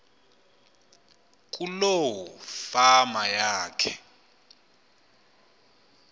kuloo fama yakhe